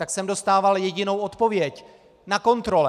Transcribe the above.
Tak jsem dostával jedinou odpověď: Na kontrole!